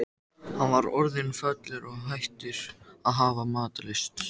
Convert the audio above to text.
Á sömu svæðum eru einnig flestar virkar eldstöðvar á jörðinni.